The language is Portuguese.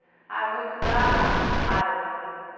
Ah, eu vou estudar árabe.